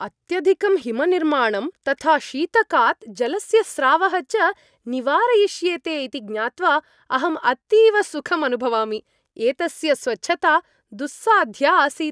अत्यधिकं हिमनिर्माणं तथा शीतकात् जलस्य स्रावः च निवारयिष्येते इति ज्ञात्वा अहम् अतीव सुखम् अनुभवामि। एतस्य स्वच्छता दुस्साध्या आसीत्।